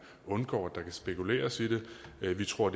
undgår at der kan spekuleres i det vi tror